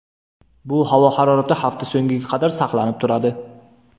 Bu havo harorati hafta so‘ngiga qadar saqlanib turadi.